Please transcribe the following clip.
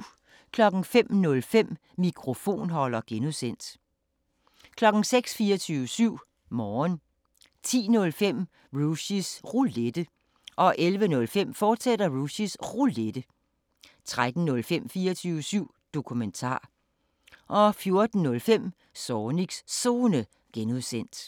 05:05: Mikrofonholder (G) 06:00: 24syv Morgen 10:05: Rushys Roulette 11:05: Rushys Roulette, fortsat 13:05: 24syv Dokumentar 14:05: Zornigs Zone (G)